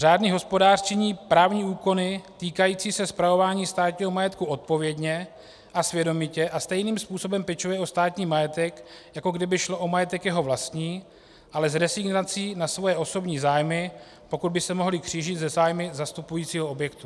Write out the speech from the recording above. Řádný hospodář činí právní úkony týkající se spravování státního majetku odpovědně a svědomitě a stejným způsobem pečuje o státní majetek, jako kdyby šlo o majetek jeho vlastní, ale s rezignací na své osobní zájmy, pokud by se mohly křížit se zájmy zastupujícího objektu.